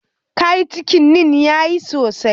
Kayi cikinin kayan sosai?